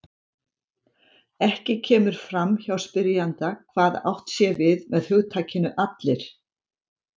Ekki kemur fram hjá spyrjanda hvað átt sé við með hugtakinu allir.